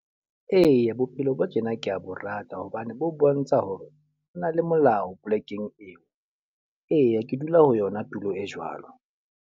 Eya, bophelo bo tjena ko bo rata. Hobane bo bontsha hore o na le molao polekeng eo. Eya ke dula ho yona tulo e jwalo.